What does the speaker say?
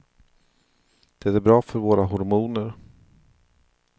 Det är bra för våra hormoner.